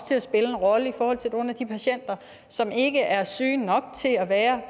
til at spille en rolle i forhold til nogle af de patienter som ikke er syge nok til at være